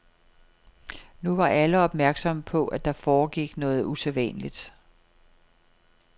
Nu var alle opmærksomme på, at der foregik noget usædvanligt.